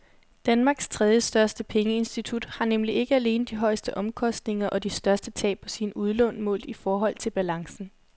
Danmarks tredjestørste pengeinstitut har nemlig ikke alene de højeste omkostninger og de største tab på sine udlån målt i forhold til balancen.